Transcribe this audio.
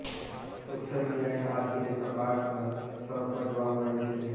social મિડીયાની આ અતિરેકની હકારાત્મક અસર પણ જોવા મળી છે